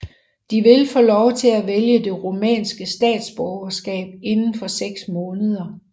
De vil få lov til at vælge det rumænske statsborgerskab inden for 6 måneder